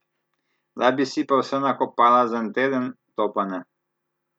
Da bi si pa vse nakopala za en teden, to pa ne!